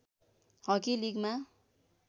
hockey लिगमा